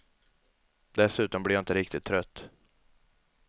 Dessutom blir jag inte riktigt trött.